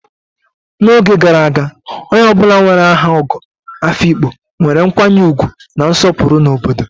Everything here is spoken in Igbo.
N'oge gara aga, onye ọ bụla nwere aha Ogo Afikpo nwere nkwanye ugwu na nsopuru na obodo.